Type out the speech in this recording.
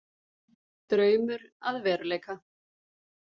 Draumur að veruleika